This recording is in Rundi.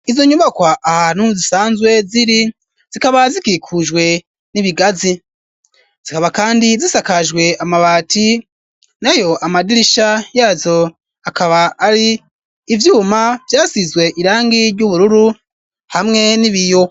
Izo nyubakwa ahantu zisanzwe ziri zikaba zikikujwe n'ibigazi ,zikaba kandi zisakajwe amabati, nayo amadirisha yazo akaba ari ivyuma vyasizwe irangi ry'ubururu hamwe n'ibiyo.